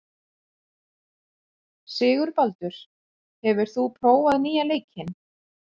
Sigurbaldur, hefur þú prófað nýja leikinn?